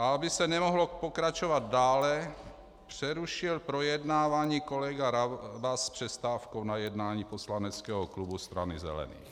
A aby se nemohlo pokračovat dále, přerušil projednávání kolega Rabas s přestávkou na jednání poslaneckého klubu Strany zelených.